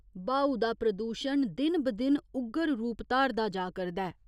ब्हाऊ दा प्रदूशण दिन ब दिन उग्गर रूप धारदा जा करदा ऐ।